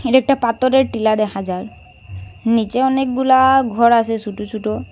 এটা একটা পাতরের টিলা দেখা যার নীচে অনেকগুলা ঘর আসে ছুটো ছুটো।